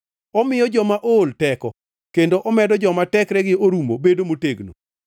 Omiyo joma ool teko kendo omedo joma tekregi orumo bedo motegno.